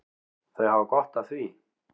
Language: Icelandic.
Þau hafa gott af því.